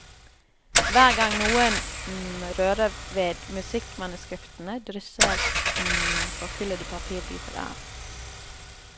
Hver gang noen rører ved musikkmanuskriptene, drysser forkullede papirbiter av.